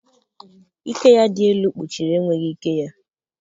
Ike ya dị elu kpuchiri enweghị ike ya.